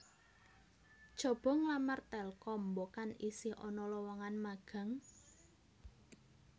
Cobo nglamar Telkom mbokan isih ana lowongan magang